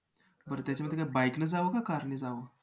बरं त्याच्यामध्ये काय bike ने जावं काय car ने जावं?